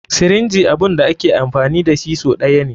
Sirinji abun da ake amfani dashi sau ɗaya ne.